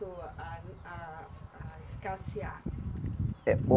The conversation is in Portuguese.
A a a escassear? Eh